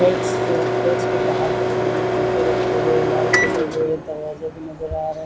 Fates जो फेट्स के बहार की तरफ जुटे रखे हुए है लाइट जले हुए है दरवाजे भी नज़र आ रहे है।